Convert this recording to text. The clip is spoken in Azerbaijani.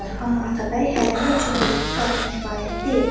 Amma Atabəy hərəmi üçün bir-iki qadın kifayət deyil.